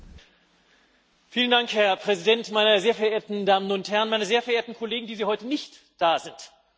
Herr Präsident, meine sehr verehrten Damen und Herren, meine sehr verehrten Kollegen, die Sie heute nicht da sind. Wo sind sie eigentlich?